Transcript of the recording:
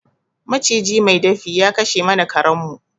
Maciji mai dafi ya kashe mana karen mu